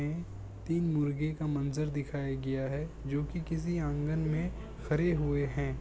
तीन मुर्गियों का मंजर दिखाया गया है जोकि किसी आंगन में खड़े हुए हैं।